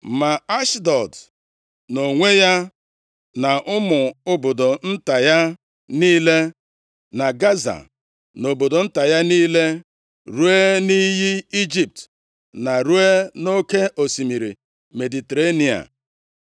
Ma Ashdọd nʼonwe ya, na ụmụ obodo nta ya niile, na Gaza na obodo nta ya niile, ruo nʼiyi Ijipt, na ruo nʼoke osimiri Mediterenịa.